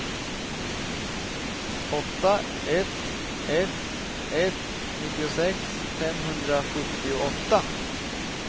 åtta ett ett ett nittiosex femhundrasjuttioåtta